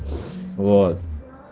вот